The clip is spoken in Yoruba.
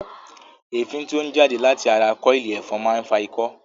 Èéfín tí ó ń jáde láti ara kọ́ọ̀ìlì ẹ̀fọn máa ń fa ikọ́